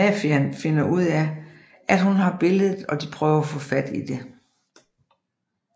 Mafiaen finder ud af at hun har billedet og de prøver at få fat i det